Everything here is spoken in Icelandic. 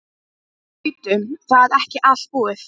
Og bíddu. það er ekki allt búið.